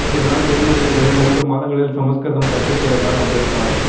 இதனால் ஜெர்மனியில் வெறும் மூன்று மாதங்களில் சம்ஸ்கிருதம் கற்றுத் தேர்ந்தார் அம்பேத்கர்